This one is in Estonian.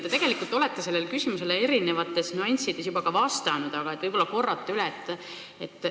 Te tegelikult olete sellele küsimusele eri nüanssides juba vastanud, aga võib-olla te kordate üle.